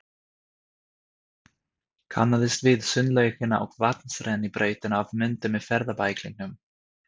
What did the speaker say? Kannaðist við sundlaugina og vatnsrennibrautina af myndum í ferðabæklingnum.